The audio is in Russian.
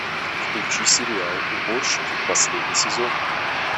включи сериал уборщики последний сезон